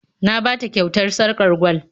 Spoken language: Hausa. Na ba ta kyautar sarƙar gwal